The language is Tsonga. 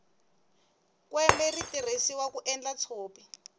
kwembe ri tirhisiwa ku endla tshopi